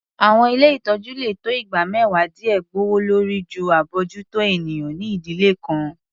Àwọn ilé ìtọ́jú lè tó igba mẹ́wàá díè gbòwòlórí jù abójútó ènìyàn ní ìdílé kan.